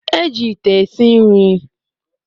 Eji ite esi nri